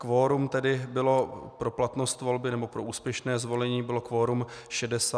Kvorum tedy bylo pro platnost volby nebo pro úspěšné zvolení bylo kvorum 64 hlasy.